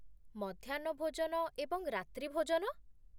ମଧ୍ୟାହ୍ନ ଭୋଜନ ଏବଂ ରାତ୍ରୀ ଭୋଜନ?